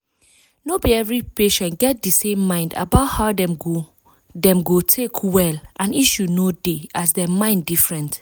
no be every patient get di same mind about how dem go dem go take well and issue no dey as dem mind different.